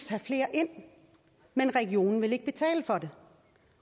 tage flere ind men regionen vil ikke betale for det